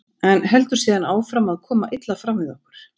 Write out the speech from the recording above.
en heldur síðan áfram að koma illa fram við okkur.